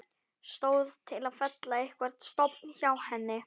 Stóð til að fella einhvern stofn hjá henni?